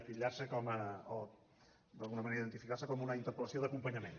o d’alguna manera identificarse com una interpel·lació d’acompanyament